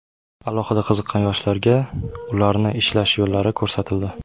Alohida qiziqqan yoshlarga ularni ishlash yo‘llari ko‘rsatildi.